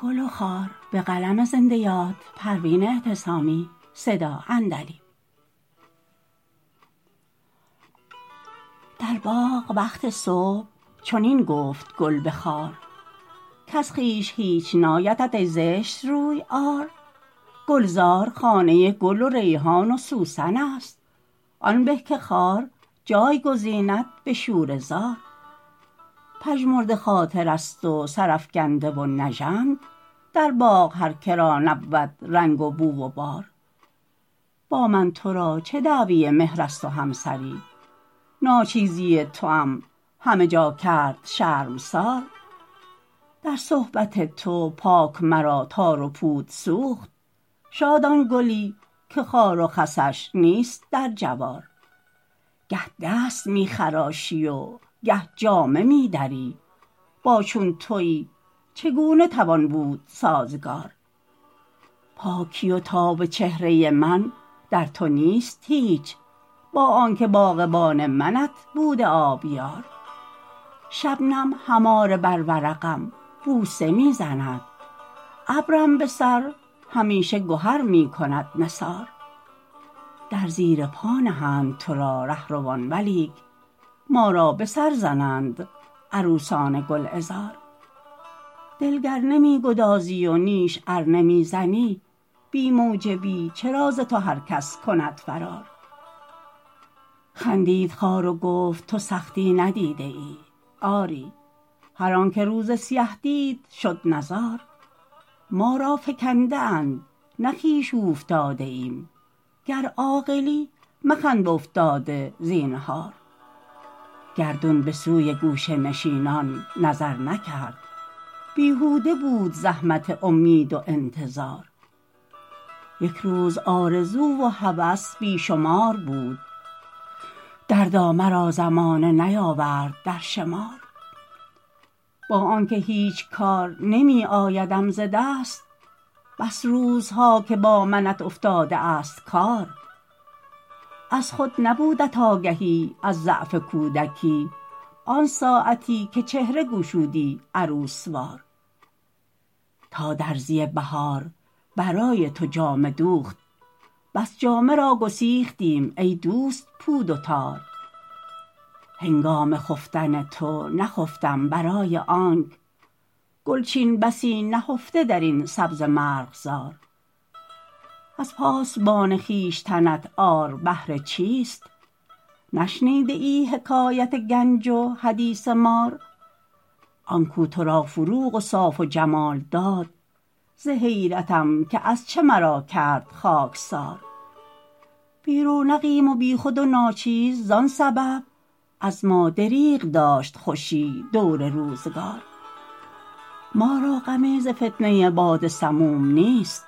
در باغ وقت صبح چنین گفت گل به خار کز خویش هیچ نایدت ای زشت روی عار گلزار خانه گل و ریحان و سوسن است آن به که خار جای گزیند به شوره زار پژمرده خاطر است و سرافکنده و نژند در باغ هر که را نبود رنگ و بو و بار با من ترا چه دعوی مهر است و همسری ناچیزی توام همه جا کرد شرمسار در صحبت تو پاک مرا تار و پود سوخت شاد آن گلی که خار و خسش نیست در جوار گه دست میخراشی و گه جامه میدری با چون تویی چگونه توان بود سازگار پاکی و تاب چهره من در تو نیست هیچ با آنکه باغبان منت بوده آبیار شبنم هماره بر ورقم بوسه می زند ابرم بسر همیشه گهر میکند نثار در زیر پا نهند ترا رهروان ولیک ما را بسر زنند عروسان گلعذار دل گر نمیگدازی و نیش ار نمیزنی بی موجبی چرا ز تو هر کس کند فرار خندید خار و گفت تو سختی ندیده ای آری هر آنکه روز سیه دید شد نزار ما را فکنده اند نه خویش اوفتاده ایم گر عاقلی مخند بافتاده زینهار گردون بسوی گوشه نشینان نظر نکرد بیهوده بود زحمت امید و انتظار یکروز آرزو و هوس بیشمار بود دردا مرا زمانه نیاورد در شمار با آنکه هیچ کار نمی آیدم ز دست بس روزها که با منت افتاده است کار از خود نبودت آگهی از ضعف کودکی آنساعتی که چهره گشودی عروس وار تا درزی بهار برای تو جامه دوخت بس جامه را گسیختم ای دوست پود و تار هنگام خفتن تو نخفتم برای آنک گلچین بسی نهفته درین سبزه مرغزار از پاسبان خویشتنت عار بهر چیست نشنیده ای حکایت گنج و حدیث مار آنکو ترا فروغ و صاف و جمال داد در حیرتم که از چه مرا کرد خاکسار بی رونقیم و بیخود و ناچیز زان سبب از ما دریغ داشت خوشی دور روزگار ما را غمی ز فتنه باد سموم نیست